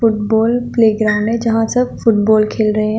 Ball playground है जहां सब फुटबॉल खेल रहे हैं।